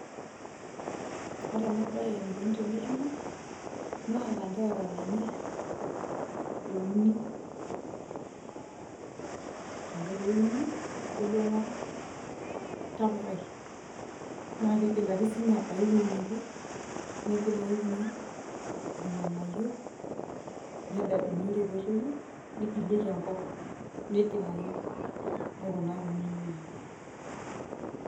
Ore enabae enikoni tenetumi, naa lanterera lenye euni. Ore ake peuni, nebulu ena tapukai. Na kigil ake sinye abaya ewoi neje, nigil ayu inyoo, irng'anayio, nededu ore petoyu, nigilieki enkop. Nigil ayu. Nikunaki neejia.